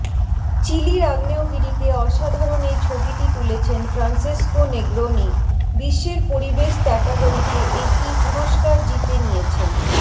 চিলির আগ্নেয়গিরির অসাধারণ এই ছবিটি তুলেছেন ফ্রান্সিস্কো নেগ্রোনি বিশ্বের পরিবেশ ত্যাটাগরিতে এটি পুরস্কার জিতে নিয়েছেন